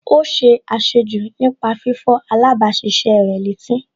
Ó ṣe àṣejù nípa fífọ̀ alábàáṣiṣé rẹ̀ létí